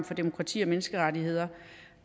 for demokrati og menneskerettigheder